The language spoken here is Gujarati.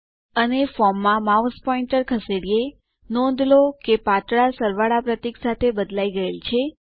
અને ચાલો ફોર્મ માં માઉસ પોઇન્ટર ખસેડીએ નોંધ લો કે તે પાતળા વત્તા પ્રતીક સાથે બદલાઈ ગયેલ છે